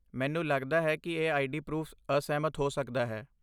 ਮੈਨੂੰ ਲੱਗਦਾ ਹੈ ਕਿ ਇਹ ਆਈਡੀ ਪਰੂਫ਼ ਅਸਹਿਮਤ ਹੋ ਸਕਦਾ ਹੈ।